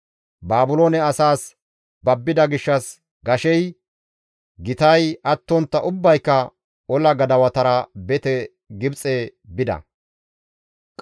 Baabiloone asaas babbida gishshas gashey, gitay attontta ubbayka ola gadawatara bete Gibxe bida.